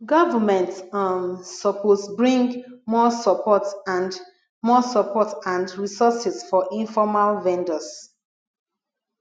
government um suppose bring more support and more support and resources for informal vendors